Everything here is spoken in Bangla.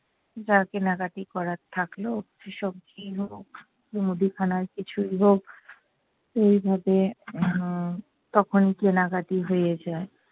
যা কেনাকাটি করার থাকলো সে সবজিই হোক, মুদিখানার কিছুই হোক এইভাবে উম তখন কেনাকাটি হয়ে যায়।